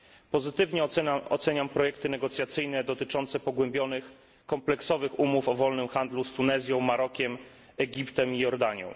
Pozytywnie oceniam projekty negocjacyjne dotyczące pogłębionych, kompleksowych umów o wolnym handlu z Tunezją, Marokiem, Egiptem i Jordanią.